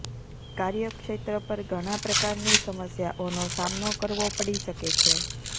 કાર્યક્ષેત્ર પર ઘણા પ્રકારની સમસ્યાઓનો સામનો કરવો પડી શકે છે